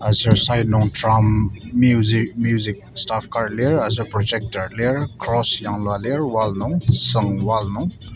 aser side nung drum music music staff kar lir aser projector lir cross yanglua lir wall nung sung wall nung.